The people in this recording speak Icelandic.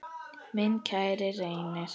Minn kæri Reynir.